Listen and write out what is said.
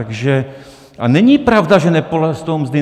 A není pravda, že neporostou mzdy.